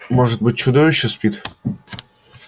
может быть чудовище спит